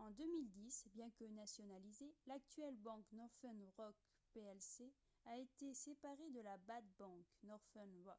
en 2010 bien que nationalisée l'actuelle banque northern rock plc a été séparée de la « bad bank, » northern rock